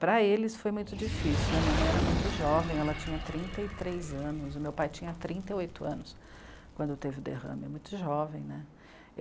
Para eles foi muito difícil, né, minha mãe era muito jovem, ela tinha trinta e três anos, o meu pai tinha trinta e oito anos quando teve o derrame, muito jovem né.